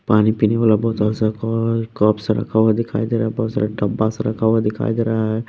पानी पीने वाला बोतल सा कप्स रखा हुआ दिखाई दे रहा है बहुत सारा डब्बास रखा हुआ दिखाई दे रहा है।